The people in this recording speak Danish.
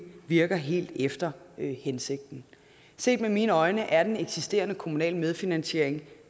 virker helt efter hensigten set med mine øjne er den eksisterende kommunale medfinansiering